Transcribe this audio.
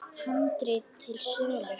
Handrit til sölu.